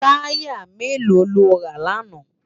Tàyá méló ló rá làná?